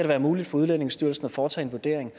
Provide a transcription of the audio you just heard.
være muligt for udlændingestyrelsen at foretage en vurdering